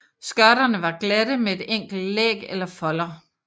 Skørterne var glatte med et enkelt læg eller folder